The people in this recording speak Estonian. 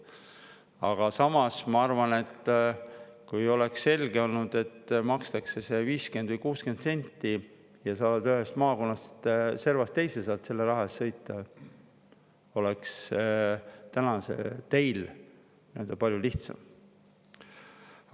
Aga samas ma arvan, et kui oleks selge olnud, et makstakse 50 või 60 senti ja saad ühest maakonna servast teise selle raha eest sõita, oleks täna teil palju lihtsam.